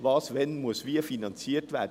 Was muss wann wie finanziert werden?